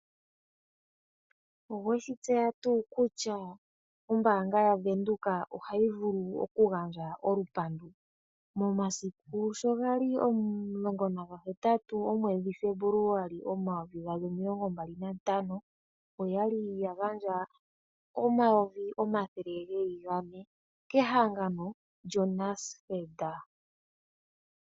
Owe shi tseya nga kutya ombanga ya venduka otayi vulu oku gandja olupandu. Momasiku sho gali 18 Febuluali 2025, oyali ya gandja oondola N$400000.00, kehangano lyo NASFED.